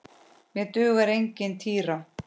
Mér dugar engin týra!